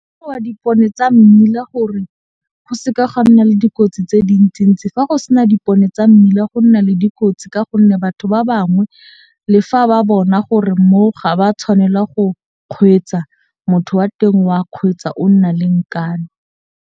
Dipone tsa mmila gore go seka ga nna le dikotsi tse dintsi-ntsi fa go sena dipone tsa mmila go nna le dikotsi ka gonne batho ba bangwe le fa ba bona gore mo ga ba tshwanela go kgweetsa, motho wa teng o a kgweetsa o nna le nkane.